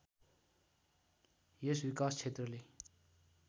यस विकास क्षेत्रले